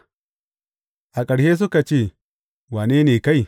A ƙarshe suka ce, Wane ne kai?